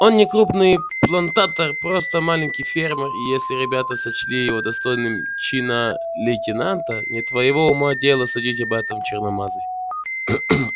он не крупный плантатор просто маленький фермер и если ребята сочли его достойным чина лейтенанта не твоего ума дело судить об этом черномазый